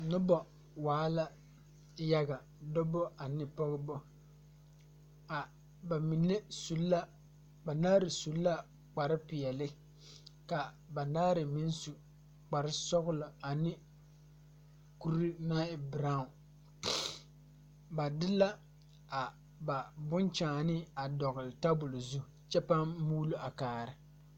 Nobɔ waa la yaga dɔbɔ ane Pɔgebɔ, a bamine su la banaare su la kpare peɛle ka banaare meŋ su kpare sɔgelɔ ane kuri naŋ e berao, ba de la a ba bonkyaane a dɔgele tabol zu kyɛ pãã muulo a kaara.